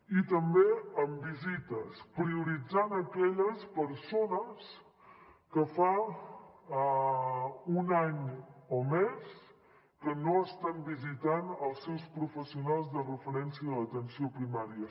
i també amb visites prioritzant aquelles persones que fa un any o més que no estan visitant els seus professionals de referència a l’atenció primària